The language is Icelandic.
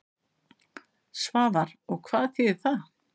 Svavar: Og hvað þýðir það?